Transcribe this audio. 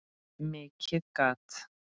Mikið gat